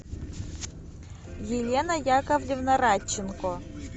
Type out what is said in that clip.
елена яковлевна радченко